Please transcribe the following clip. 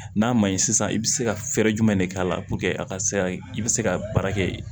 N'a ma ɲi sisan i bɛ se ka fɛɛrɛ jumɛn de k'a la a ka se ka i bɛ se ka baara kɛ